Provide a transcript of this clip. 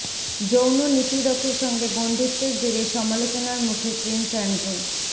যৌন নিপীড়কের সঙ্গে বন্ধুত্বের জেরে সমালোচনার মুখে প্রিন্স অ্যান্ড্রু